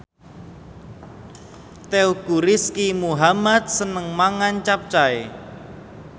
Teuku Rizky Muhammad seneng mangan capcay